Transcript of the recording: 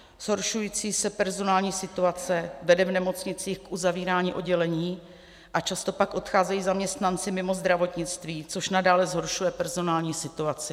Zhoršující se personální situace vede v nemocnicích k uzavírání oddělení a často pak odcházejí zaměstnanci mimo zdravotnictví, což nadále zhoršuje personální situaci.